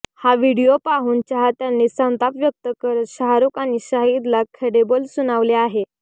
हा व्हिडिओ पोहून चाहत्यांनी संताप व्यक्त करत शाहरुख आणि शाहिदला खडेबोल सुनावले आहेत